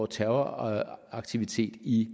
terroraktiviteter i